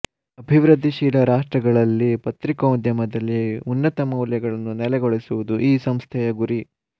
ಅಭಿವೃದ್ಧಿಶೀಲ ರಾಷ್ಟ್ರಗಳಲ್ಲಿ ಪತ್ರಿಕೋದ್ಯಮದಲ್ಲಿ ಉನ್ನತ ಮೌಲ್ಯಗಳನ್ನು ನೆಲೆಗೊಳಿಸುವುದು ಈ ಸಂಸ್ಥೆಯ ಗುರಿ